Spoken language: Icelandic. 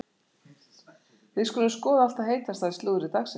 Við skulum skoða allt það heitasta í slúðri dagsins.